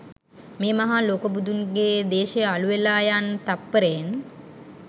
මේ මහා ලොකු බුදුන්ගේ දේශය අළු වෙලා යන්නේ තත්පරයෙන්